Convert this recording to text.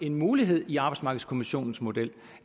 en mulighed i arbejdsmarkedskommissionens model